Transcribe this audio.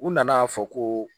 U nana'a fɔ ko